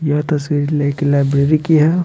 यह तस्वीर लेकिन लाइब्रेरी की है।